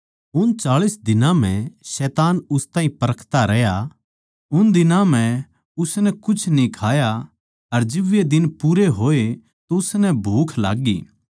उन चाळीस दिनां म्ह शैतान उस ताहीं परखता रहया उन दिनां म्ह उसनै कुछ न्ही खाया अर जिब वे दिन पूरे होए तो उसनै भूख लाग्गी